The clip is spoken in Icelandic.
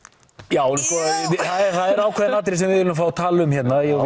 já það er ákveðið atriði sem við viljum fá að tala um hérna ég og